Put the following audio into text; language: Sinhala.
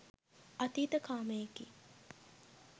අතීත කාමයකි.